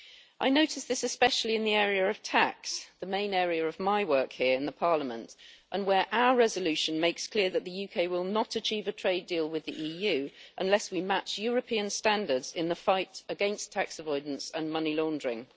I noticed this especially in the area of tax, the main area of my work here in Parliament, and where our resolution makes clear that the UK will not achieve a trade deal with the EU unless we match European standards in the fight against tax avoidance and money laundering.